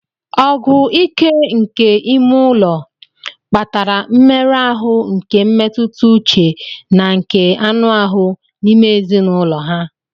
Ọgụ ike nke n'ime ụlọ kpatara mmerụ ahụ nke mmetụta uche na nke anụ ahụ n'ime ezinụlọ ha.